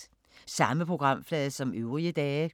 Samme programflade som øvrige dage